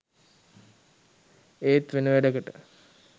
ඒත් වෙන වැඩකට